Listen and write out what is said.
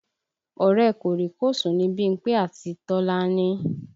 Ọ̀rẹ́ ẹ̀ kòríkòsùn ni Bímpé àti Tọ́lání